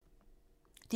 DR1